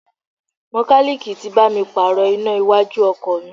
Mekaniiki tí bá mi pààrò iná iwájú ọkọ̀ mi.